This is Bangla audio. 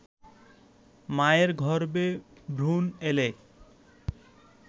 মায়ের গর্ভে ভ্রুণ এলে